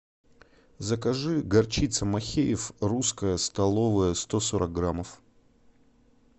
закажи горчица махеев русская столовая сто сорок граммов